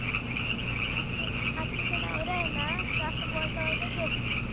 अत्तु अत्तु च नवरा आहे ना तो असं बोलता बोलता झोपतो.